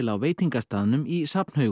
á veitingastaðnum í